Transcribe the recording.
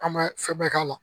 An bɛ sɛbɛn k'a la